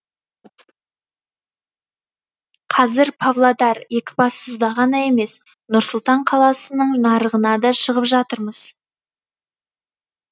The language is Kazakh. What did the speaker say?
қазір павлодар екібастұзда ғана емес нұр сұлтан қаласының нарығына да шығып жатырмыз